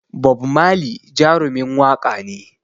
Bob Marley Jarumin waƙa ne